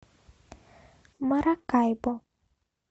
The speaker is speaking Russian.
маракайбо